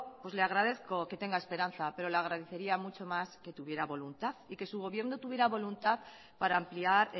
le agradezco que tenga esperanza pero le agradecería mucho más que tuviera voluntad y que su gobierno tuviera voluntad para ampliar